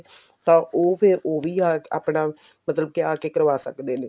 ਤਾਂ ਉਹ ਫਿਰ ਉਹ ਉਹ ਵੀ ਆਪਣਾ ਮਤਲਬ ਕੀ ਆ ਕੇ ਕਰਵਾ ਸਕਦੇ ਨੇ